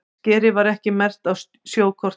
Skerið var ekki merkt á sjókort